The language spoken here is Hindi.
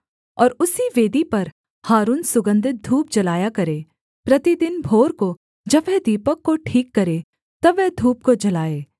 और उसी वेदी पर हारून सुगन्धित धूप जलाया करे प्रतिदिन भोर को जब वह दीपक को ठीक करे तब वह धूप को जलाए